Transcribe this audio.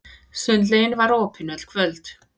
Sundlaugin var opin öll kvöld.